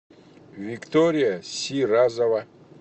виктория сиразова